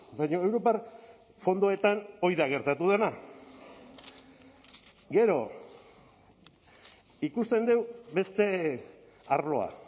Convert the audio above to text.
baina europar fondoetan hori da gertatu dena gero ikusten dugu beste arloa